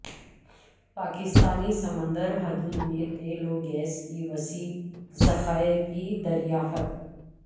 پاکستانی سمندری حدود میں تیل و گیس کے وسیع ذخائر کی دریافت